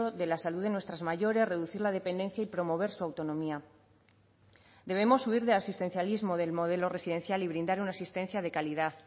de la salud de nuestras mayores reducir la dependencia y promover su autonomía debemos huir del asistencialismo del modelo residencial y brindar una asistencia de calidad